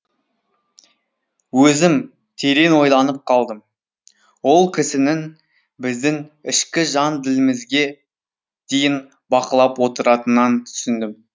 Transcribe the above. өзім терең ойланып қалдым ол кісінің біздің ішкі жан ділмізге дейін бақылап отыратынын түсіндім